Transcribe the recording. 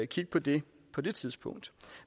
kigge på det på det tidspunkt